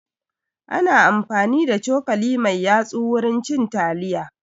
Ana amfani da cokali mai yatsu wurin cin taliya